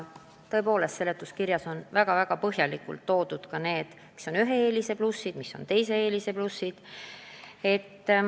Seletuskirjas on väga põhjalikult kirjas, mis on ühe lahenduse plussid ja mis on teise lahenduse plussid.